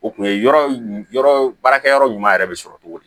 O kun ye yɔrɔ baarakɛ yɔrɔ ɲuman yɛrɛ bɛ sɔrɔ cogo di